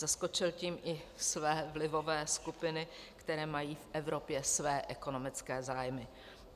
Zaskočil tím i své vlivové skupiny, které mají v Evropě své ekonomické zájmy.